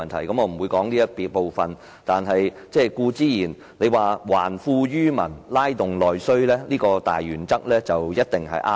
我不會討論這個部分，但他提到"還富於民"、"拉動內需"的大原則一定是對的。